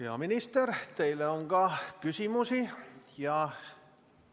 Hea minister, teile on ka küsimusi!